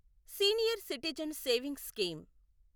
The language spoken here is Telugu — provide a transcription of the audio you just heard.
senior citizen savings scheme